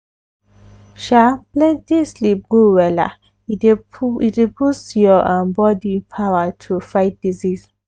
sha plenty sleep good wella e dey boost your um body power to fight disease.